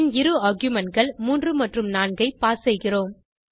பின் இரு argumentகள் 3 மற்றும் 4 ஐ பாஸ் செய்கிறோம்